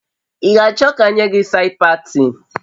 Ị ga achọ ka m nye gi said patin?